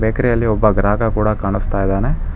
Bakery ಯಲ್ಲಿ ಒಬ್ಬ ಗ್ರಾಹಕ ಕೂಡ ಕಾಣಿಸ್ತಾ ಇದ್ದಾನೆ.